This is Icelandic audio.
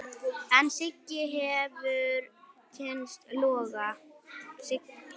En Siggi hefur kynnst loga.